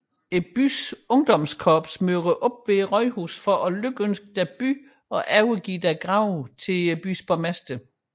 Byens ungdomskorps møder op ved rådhuset for at lykønske deres by og overgive deres gave til byens borgmester